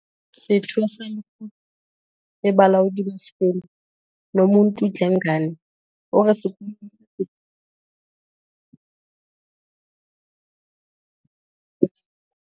Setho sa lekgotla la bolaodi ba sekolo, Nomuntu Dlengane, o re sekolo se setjha se tla kgothaletsa matitjhere le bana ho fihlella bokgoni ba bona ba nnete.